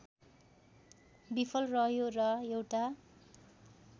विफल रह्यो र एउटा